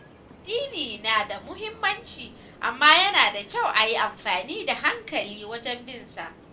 Addini na da muhimmanci, amma yana da kyau a yi amfani da hankali wajen bin sa.